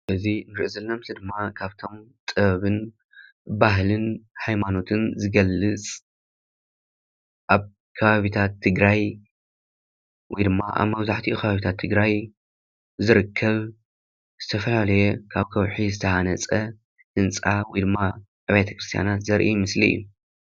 እዚ ዘርኢ ምስሊ ድማ ካብቶም ጥበብን ባህሊን ሃይማኖትን ዝገልፅ፡፡ አብ ከባቢታት ትግራይ ወይ ድማ አብ መብዛሕቲኡ ከባቢታት ትግራይ ዝርከብ ዝተፈላለየ ካብ ከውሒ ዝተሃነፀ ህንፃ ወይ ድማ አብያተ ክርስትያናት ዘርኢ ምስሊ እዩ፡፡